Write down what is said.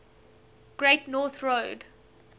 great north road